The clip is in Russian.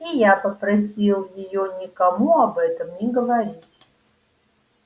и я попросил её никому об этом не говорить